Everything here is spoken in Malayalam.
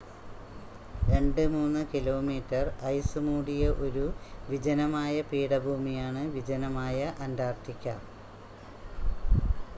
2-3 കിലോമീറ്റർ ഐസ് മൂടിയ ഒരു വിജനമായ പീഠഭൂമിയാണ് വിജനമായ അൻ്റാർട്ടിക്ക